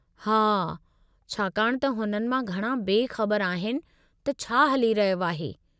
हा, छाकाणि त हुननि मां घणा बे ख़बर आहिनि त छा हली रहियो आहे।